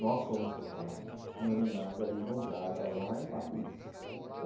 Nós fomos tocar em homenagem ao Luiz Gonzaga lá em Paris.